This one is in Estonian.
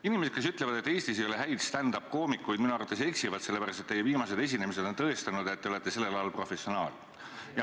Inimesed, kes ütlevad, et Eestis ei ole häid stand-up-koomikuid, minu arvates eksivad, sellepärast, et teie viimased esinemised on tõestanud, et te olete sellel alal professionaal.